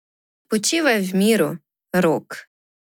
Počivaj v miru, Rok.